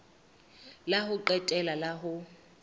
la ho qetela la ho